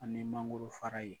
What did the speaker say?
A ni mangoro fara ye